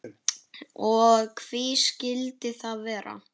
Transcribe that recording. Og hví skildi það vera?